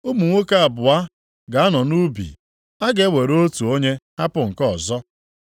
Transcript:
Ụmụ nwoke abụọ ga-anọ nʼubi, a ga-ewere otu onye hapụ nke ọzọ. + 17:36 Ụfọdụ akwụkwọ na-edebanye okwu ndị a dịka ọ dị nʼakwụkwọ \+xt Mat 24:40\+xt*.